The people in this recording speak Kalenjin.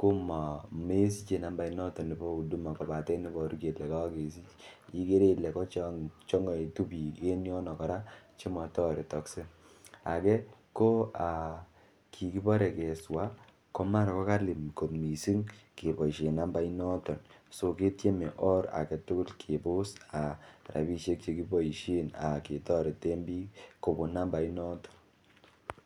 komesiche nambainoton nebo huduma kobaten iboru kelee kokesich, ikere ilee ko chong'oitu biik en yono kora chemotoretokse, akee ko kikibore keswa komara kokali koot mising keboishen nambai notion so ketieme oor aketukul kebos rabishek chekiboishen ketoreten biik kobun nambainoton.